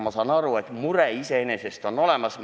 Ma saan aru, et mure iseenesest on olemas.